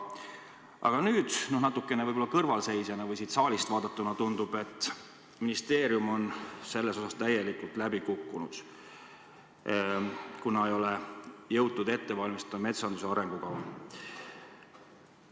Aga natukene võib-olla kõrvalseisjana või siit saalist vaadatuna tundub, et ministeerium on selles osas täielikult läbi kukkunud – ei ole jõutud ette valmistada metsanduse arengukavu.